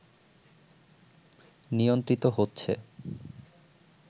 নিয়ন্ত্রিত হচেছ